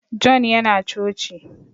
John ya na coci